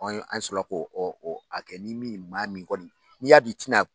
An sɔrɔ la ko a kɛ ni min m'a min kɔni n'i y'a dɔn i ti na